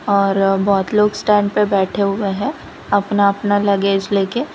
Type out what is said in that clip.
और बहोत लोग स्टैंड पर बैठे हुए हैं अपना अपना लगेज ले के --